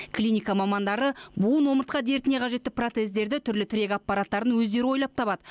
клиника мамандары буын омыртқа дертіне қажетті протездерді түрлі тірек аппараттарын өздері ойлап табады